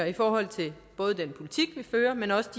i forhold til den politik vi fører men også